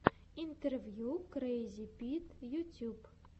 интервью крэйзипит ютьюб